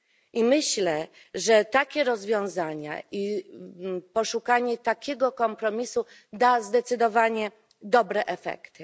I myślę, że takie rozwiązania i poszukanie takiego kompromisu da zdecydowanie dobre efekty.